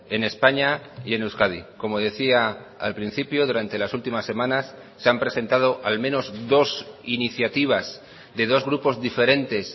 en españa y en euskadi como decía al principio durante las últimas semanas se han presentado al menos dos iniciativas de dos grupos diferentes